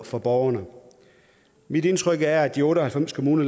for borgerne mit indtryk er at af de otte og halvfems kommuner